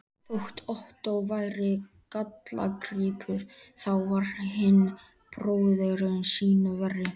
Þótt Ottó væri gallagripur, þá var hinn bróðirinn sýnu verri.